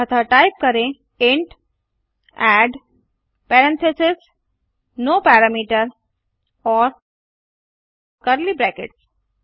अतः टाइप करें int add parentheses no parameter और कर्ली ब्रैकेट्स